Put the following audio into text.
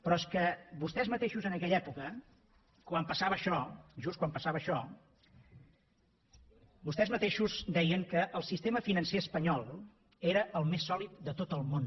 però és que vostès mateixos en aquella època quan passava això just quan passava això vostès mateixos deien que el sistema financer espanyol era el més sòlid de tot el món